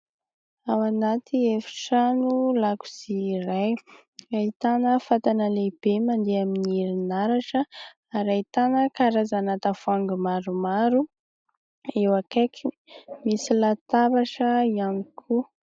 Ao anatin'ny efitrano lakozia iray ahitana fatana lehibe mandeha amin'ny herinaratra ary ahitana karazana tavoahangy maromaro eo akaikiny, misy latabatra maromaro ihany koa.